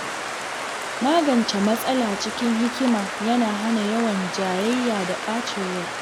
Magance matsala cikin hikima yana hana yawan jayayya da ɓacin rai.